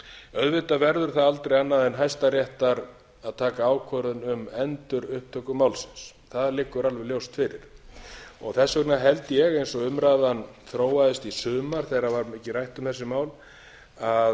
auðvitað verður það aldrei annað en hæstaréttar að taka ákvörðun um endurupptöku málsins það liggur alveg ljóst fyrir þess vegna held ég eins og umræðan þróaðist í sumar þegar var mikið rætt um þessi mál að